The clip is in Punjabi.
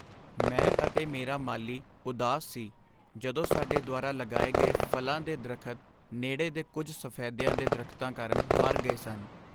ਮੈਂ ਅਤੇ ਮੇਰਾ ਮਾਲੀ ਉਦਾਸ ਸੀ ਜਦੋਂ ਸਾਡੇ ਦੁਆਰਾ ਲਗਾਏ ਗਏ ਫ਼ਲਾਂ ਦੇ ਦਰੱਖਤ ਨੇੜੇ ਦੇ ਕੁੱਝ ਸਫ਼ੈਦਿਆਂ ਦੇ ਦਰਖਤਾਂ ਕਾਰਨ ਮਰ ਗਏ ਸਨ।